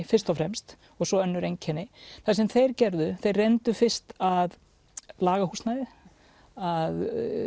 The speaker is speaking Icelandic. fyrst og fremst og svo önnur einkenni það sem þeir gerðu er þeir reyndu fyrst að laga húsnæðið að